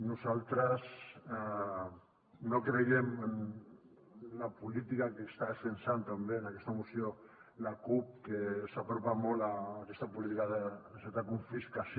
nosaltres no creiem en la política que està defensant també en aquesta moció la cup que s’apropa molt a aquesta política de certa confiscació